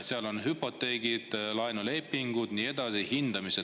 Seal on hüpoteegid, laenulepingud ja nii edasi, hindamised.